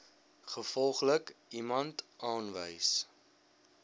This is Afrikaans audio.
gevolglik iemand aanwys